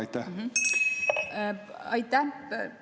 Aitäh!